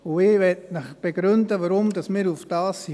» Ich möchte Ihnen begründen, weshalb wir darauf gekommen sind.